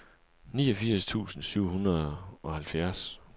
niogfirs tusind syv hundrede og halvfjerds